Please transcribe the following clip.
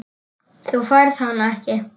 Þú færð hann ekki.